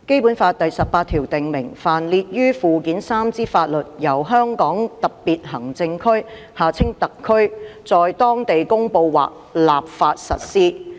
《基本法》第十八條訂明，凡列於附件三之法律，由香港特別行政區在當地公布或立法實施。